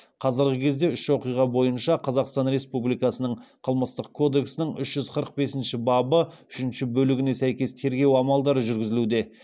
қазіргі кезде үш оқиға бойынша қазақстан республикасының қылмыстық кодексының үш жүз қырық бесінші бабы үшінші бөлігіне сәйкес тергеу амалдары жүргізілуде